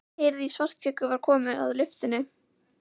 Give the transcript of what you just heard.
Heyrði að Svartskeggur var kominn að lyftunni.